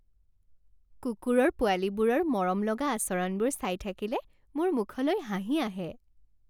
কুকুৰৰ পোৱালীবোৰৰ মৰমলগা আচৰণবোৰ চাই থাকিলে মোৰ মুখলৈ হাঁহি আহে।